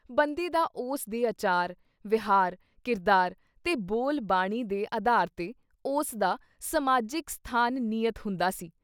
ਬੰਦੇ ਦਾ ਉਸ ਦੇ ਅਚਾਰ, ਵਿਹਾਰ, ਕਿਰਦਾਰ, ਤੇ ਬੋਲ-ਬਾਣੀ ਦੇ ਅਧਾਰ ’ਤੇ ਉਸਦਾ ਸਮਾਜਿਕ ਸਥਾਨ ਨਿਯਤ ਹੁੰਦਾ ਸੀ।